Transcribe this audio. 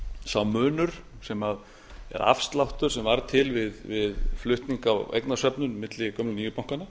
sá munur eða afsláttur sem varð til við flutning á eignasöfnum milli gömlu og nýju bankanna